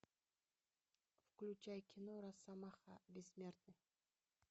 включай кино росомаха бессмертный